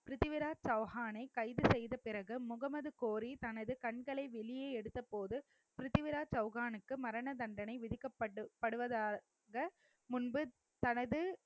பிரித்திவிராஜ் சவுஹானை கைது செய்த பிறகு முகமது கோரி தனது கண்களை வெளியே எடுத்தபோது பிரித்திவிராஜ் சௌஹானுக்கு மரண தண்டனை விதிக்கப்படு~ விதிக்கப்படுவதாக முன்பு தனது